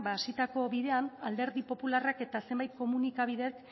hasitako bidean alderdi popularrak eta zenbait komunikabidek